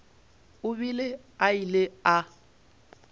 o be a ile a